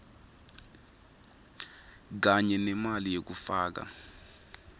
kanye nemali yekufaka